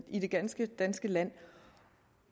i det ganske danske land og